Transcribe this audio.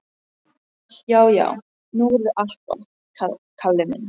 Já, já, nú verður allt gott, Kalli minn.